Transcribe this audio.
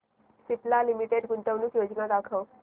Cipla limited गुंतवणूक योजना दाखव